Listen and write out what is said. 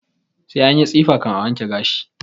Sai anyi tsifa kan a wanke gashi